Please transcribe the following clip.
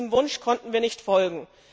Diesem Wunsch konnten wir nicht folgen.